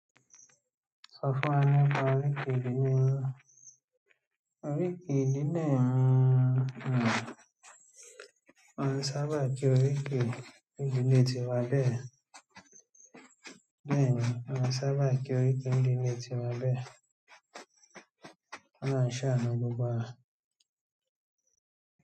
Sọ fún wa nípa oríkì ìdílé yin. Oríkì ìdílé mi, wọ́n sábà kí oríkì ìdílé tiwá bẹ́ẹ̀. Bẹ́ẹ̀ni, wọ́n sábà kí oríkì ni ìdílé tiwá bẹ́ẹ̀. Ki ọlọ́run ṣàánú gbogbo wa.